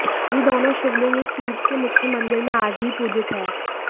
ये दोनों शिवलिंग इस तीर्थ के मुख्य मंदिर में आज भी पूजित हैं